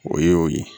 O ye o ye